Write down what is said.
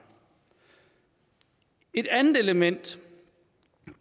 et andet element